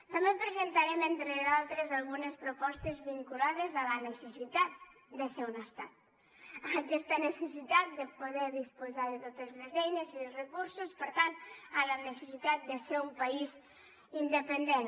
també presentarem entre d’altres algunes propostes vinculades a la necessitat de ser un estat a aquesta necessitat de poder disposar de totes les eines i els recursos per tant a la necessitat de ser un país independent